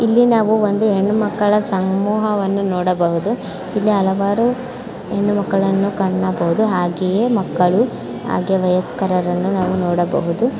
ಇಲ್ಲಿ ನಾವು ಒಂದು ಹೆಣ್ಣುಮಕ್ಕಳ ಸಮೂಹವನ್ನು ನೋಡಬಹುದು. ಇಲ್ಲಿ ಹಲವಾರು ಹೆಣ್ಣುಮಕ್ಕಳನ್ನು ಕಾಣಬಹುದು ಹಾಗೇಯೇ ಮಕ್ಕಳು ಹಾಗೆ ವಯಸ್ಕರರನ್ನು ನಾವು ನೋಡಬಹುದು.